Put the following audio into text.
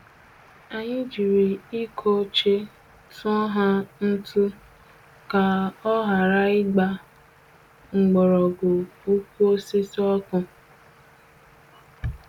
Anyị jiri iko ochie tụọ nha ntụ ka ọ ghara ịgba mgbọrọgwụ ukwu osisi ọkụ.